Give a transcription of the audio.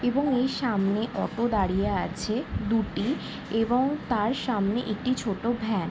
এবং এই সামনে অটো দাঁড়িয়ে আছে দুটি এবং তার সামনে একটি ছোট ভ্যান ।